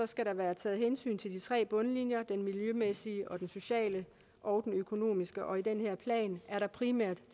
skal der være taget hensyn til de tre bundlinjer den miljømæssige den sociale og den økonomiske og i den her plan er der primært